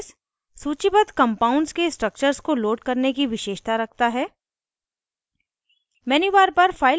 jmol database सूचीबद्ध compounds के structures को load करने की विशेषता रखता है